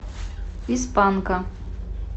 из панка